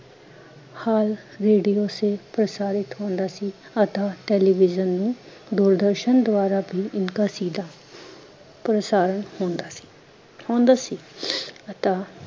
ਹਾਲ radio ਸੇ ਪ੍ਰਸਾਰਿਤ ਹੁੰਦਾ ਸੀ, ਅਥਾਹ ਟੈਲੀਵਿਜ਼ਿਨ ਨੂੰ, ਦੂਰਦਰਸ਼ਨ ਦੁਆਰਾ ਬੀ ਇਨਕਾ ਸੀਦਾ ਪ੍ਰਸਾਰਣ ਹੁੰਦਾ ਸੀ ਹੁੰਦਾ ਸੀ ਅਥਾਹ